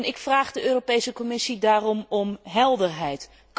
Ik vraag de Europese Commissie daarom om helderheid.